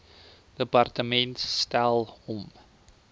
departement stel hom